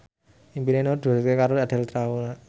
impine Nur diwujudke karo Andre Taulany